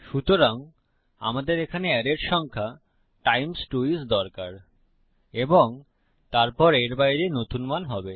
সুতরাং আমাদের এখানে অ্যারের সংখ্যা টাইমস 2 আইএস দরকার এবং তারপর এর বাইরে নতুন মান হবে